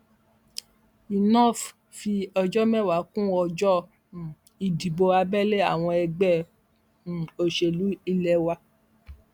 inov fi ọjọ mẹfà kún ọjọ um ìdìbò abẹlé àwọn ẹgbẹ um òṣèlú ilé wa